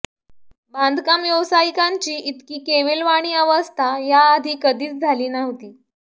बांधकाम व्यावसायिकांची इतकी केविलवाणी अवस्था याआधी कधीच झाली नव्हती